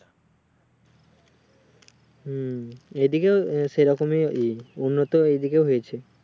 হুম এই দিকে আহ সেইরকম উন্নত এই দিকেও হয়েছে